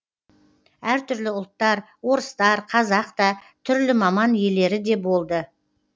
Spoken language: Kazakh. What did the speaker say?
әртүрлі ұлттар орыстар қазақ та түрлі маман иелері де болды